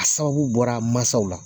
A sababu bɔra masaw la.